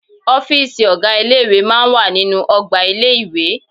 Ọ́fìsì ọ̀gá ilé ìwé máa ń wà nínú ọgbà ilé-ìwé